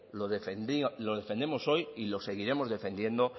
lo defendemos hoy y lo seguiremos defendiendo